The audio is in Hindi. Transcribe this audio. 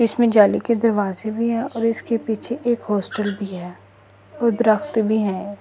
इसमें जाली के दरवाजे भी है और इसके पीछे एक हॉस्टल भी है और द्रख़्त भी है।